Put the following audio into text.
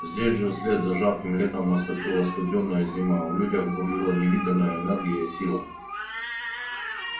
здесь же вслед за жарким летом наступила студёная зима а в людях бурлила невиданная энергия и сила